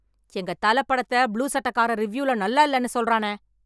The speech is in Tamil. எங்க தல படத்தை புளூ சட்டைக்காரன் ரிவியூல நல்லா இல்லன்னு சொல்றானே.